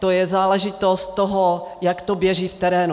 To je záležitost toho, jak to běží v terénu.